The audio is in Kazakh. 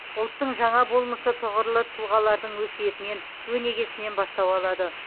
ұлттың жаңа болмысы тұғырлы тұлғалардың өсиетінен өнегесінен бастау алады